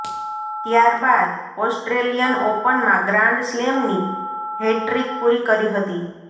ત્યારબાદ ઓસ્ટ્રેલિયન ઓપનમાં ગ્રાન્ડ સ્લેમની હેટ્રિક પૂરી કરી હતી